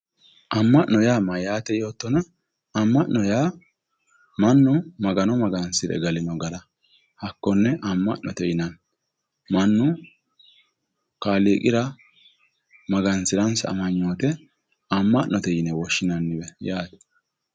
amma'no yaa mayyaate yoottona amma'no yaa mannu magano magansire galino gara hakkonne amma'note yinanni mannu kaaliiqira magansiransa amanyoote amma'note yine woshshinanni